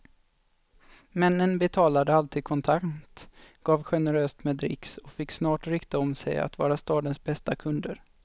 Männen betalade alltid kontant, gav generöst med dricks och fick snart rykte om sig att vara stadens bästa kunder.